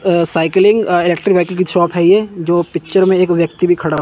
अं cycling की shop है ये जो पिक्चर में एक व्यक्ति भी खड़ा--